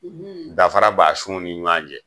Danfara b'a sunw ni ɲɔgɔn cɛ.